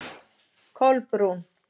Kolbrún